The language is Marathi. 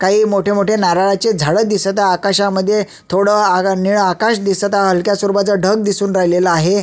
काही मोठे नारळाचे झाड दिसत आहेत आकाशामध्ये थोडं निळं आकाश दिसत आहे हलक्या स्वरूपाच ढग दिसुन राहिलं आहे.